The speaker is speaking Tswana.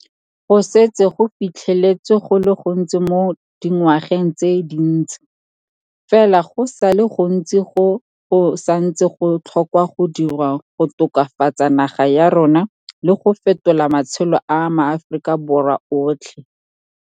Go setse go fitlheletswe go le gontsi mo dingwageng tse dintsi, fela go sa le go ntsi go go sa ntseng go tlhokwa go dirwa go tokafatsa naga ya rona le go fetola matshelo a maAforika Borwa otlhe.